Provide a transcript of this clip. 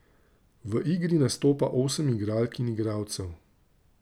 V igri nastopa osem igralk in igralcev.